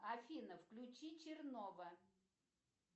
афина включи чернова